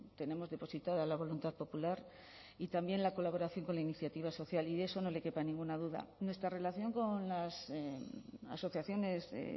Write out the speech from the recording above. tenemos depositada la voluntad popular y también la colaboración con la iniciativa social y de eso no le quepa ninguna duda nuestra relación con las asociaciones de